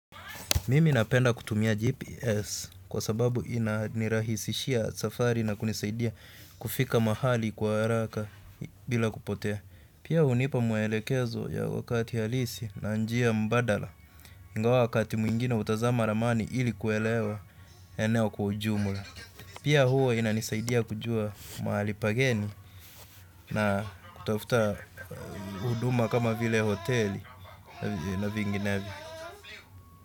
Mimi napenda kutumia GPS kwa sababu ina nirahisishia safari na kunisaidia kufika mahali kwa haraka bila kupotea. Pia hunipa mwelekezo ya wakati halisi na njia mbadala ingawa wakati mwingine hutazama ramani ili kuelewa eneo kwa ujumula. Pia huwa inanisaidia kujua mahali pageni na kutafuta huduma kama vile hoteli na vinginevyo.